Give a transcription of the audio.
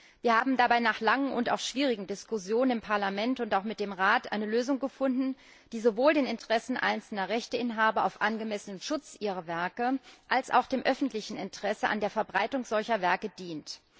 Wir haben dabei nach langen und auch schwierigen Diskussionen im Parlament und auch mit dem Rat eine Lösung gefunden, die sowohl den Interessen einzelner Rechteinhaber auf angemessenen Schutz ihrer Werke als auch dem öffentlichen Interesse an der Verbreitung solcher Werke dient.